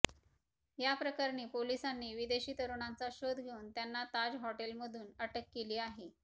या प्रकरणी पोलिसांनी विदेशी तरुणांचा शोध घेऊन त्यांना ताज हॉटेलमधून अटक केली आहे